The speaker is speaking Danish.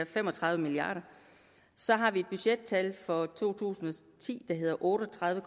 fem og tredive milliard kr og så har vi et budgettal for to tusind og ti der hedder otte og tredive